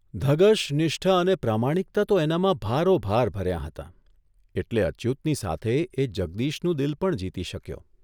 ધગશ, નિષ્ઠા અને પ્રામાણિકતા તો એનામાં ભારોભાર ભર્યાં હતાં એટલે અચ્યુતની સાથે એ જગદીશનું દિલ પણ જીતી શક્યો.